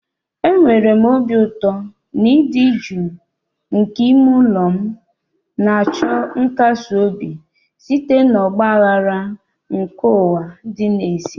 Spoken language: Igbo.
Enwere m obi ụtọ n'ịdị jụụ nke ime ụlọ m, na-achọ nkasi obi site na ọgba aghara nke ụwa dị n'èzí.